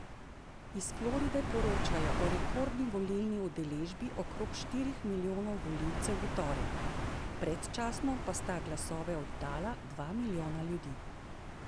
Iz Floride poročajo o rekordni volilni udeležbi okrog štirih milijonov volivcev v torek, predčasno pa sta glasove oddala dva milijona ljudi.